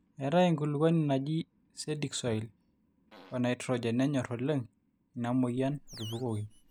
eetai enkulukuoni naji cedic soil o nitrogen nenyor oleng ina mweyian atupukoki